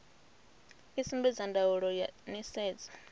i sumbedza ndaulo ya nisedzo